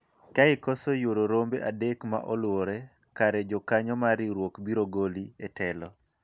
ka ikoso yuoro rombe adek ma oluwore kare jokanyo mar riwruok biro goli e telo